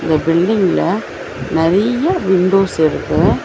இந்த பில்டிங்ல நறிய்ய விண்டோஸ் இருக்கு.